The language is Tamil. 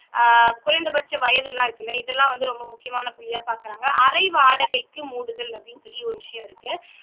ஆஹ் குறைந்தபட்ச வயதெல்லாம் இருக்குல்ல இதெல்லாம் வந்து ரொம்ப முக்கியமான புள்ளியா பார்க்கிறாங்க அரை வாடகைக்கு மூடுதல் அப்படின்னு சொல்லி விஷயம் இருக்கு